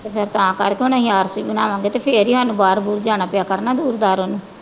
ਅੱਛਾ ਤਾਂ ਕਰਕੇ ਉਹ ਨਈਂ ਆਰ ਸੀ ਤੇ ਫੇਰ ਈ ਸਾਨੂੰ ਬਾਹਰ ਬੁਹਰ ਜਾਣਾ ਪਿਆ ਕਰਨਾ ਦੂਰ ਦਾਰੋਂ ਨੂੰ